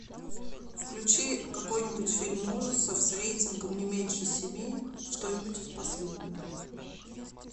включи какой нибудь фильм ужасов с рейтингом не меньше семи что нибудь из последнего